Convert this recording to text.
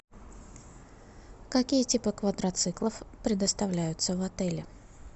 какие типы квадроциклов предоставляются в отеле